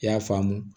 I y'a faamu